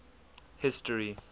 history